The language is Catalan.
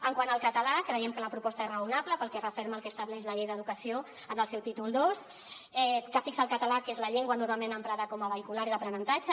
quant al català creiem que la proposta és raonable perquè referma el que estableix la llei d’educació en el seu títol ii que fixa el català que és la llengua normalment emprada com a vehicular i d’aprenentatge